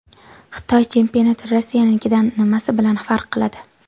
Xitoy chempionati Rossiyanikidan nimasi bilan farq qiladi?